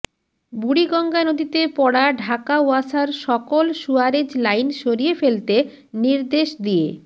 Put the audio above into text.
বুড়িগঙ্গা নদীতে পড়া ঢাকা ওয়াসার সকল সুয়ারেজ লাইন সরিয়ে ফেলতে নির্দেশ দিয়ে